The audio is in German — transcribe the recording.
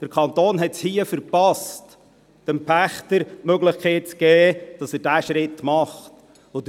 Der Kanton hat es hier verpasst, dem Pächter die Möglichkeit zu geben, diesen Schritt zu tun.